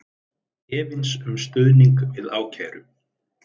Efins um stuðning við ákæru